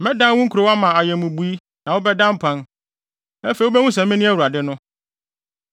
Mɛdan wo nkurow ama ayɛ mmubui na wobɛda mpan. Afei wubehu sɛ mene Awurade no.